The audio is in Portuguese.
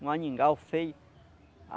Um feio.